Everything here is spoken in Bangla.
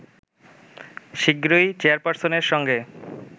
শিগগিরই চেয়ারপারসনের সঙ্গে